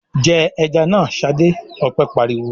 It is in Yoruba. "Jẹ ẹja náà, Ṣadé!" Ọpẹ́ pariwo.